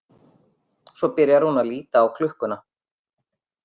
Svo byrjar hún að líta á klukkuna.